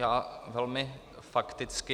Já velmi fakticky.